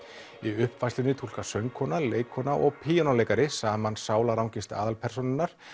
í uppfærslunni túlkar söngkona leikkona og píanóleikari saman sálarangist aðalpersónunnar